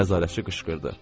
Nəzarətçi qışqırdı.